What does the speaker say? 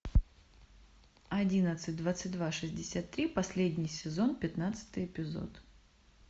одиннадцать двадцать два шестьдесят три последний сезон пятнадцатый эпизод